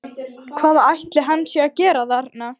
Hvað ætli hann sé að gera þarna?